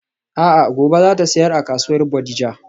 A'a gobe zata siyar a kasuwar Bodija.